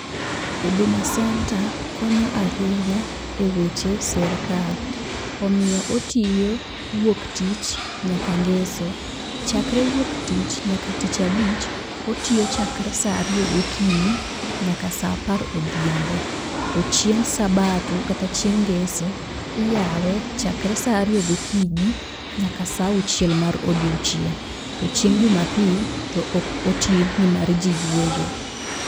Huduma Centre konyo ahinya eweche sirkal. Omiyo otiyo wuok tich nyaka ngeso. Chakre wuok tich nyaka tich abich, otiyo chakre saa ariyo gokinyi nyaka saa apar odhiambo. To chieng' sabato kata chieng' ngeso, iyawe chakre saa ariyo gokinyi nyaka saa auchiel mar odiechieng'. To chieng' jumapil to ok oti nimar ji yweyo.